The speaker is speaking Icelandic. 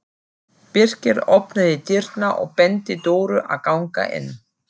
Birkir opnaði dyrnar og benti Dóru að ganga inn.